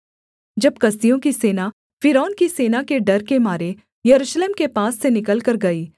जब कसदियों की सेना फ़िरौन की सेना के डर के मारे यरूशलेम के पास से निकलकर गई